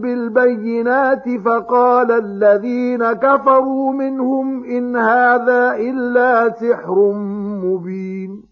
بِالْبَيِّنَاتِ فَقَالَ الَّذِينَ كَفَرُوا مِنْهُمْ إِنْ هَٰذَا إِلَّا سِحْرٌ مُّبِينٌ